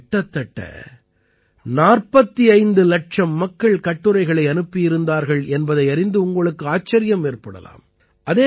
இதற்கு கிட்டத்தட்ட 45 இலட்சம் மக்கள் கட்டுரைகளை அனுப்பியிருந்தார்கள் என்பதை அறிந்து உங்களுக்கு ஆச்சரியம் ஏற்படலாம்